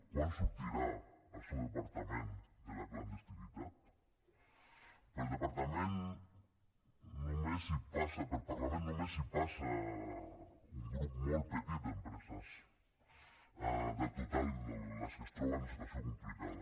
quan sortirà el seu departament de la clandestinitat pel parlament només hi passen un grup molt petit d’empreses del total de les que es troben en situació complicada